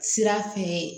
Sira fɛ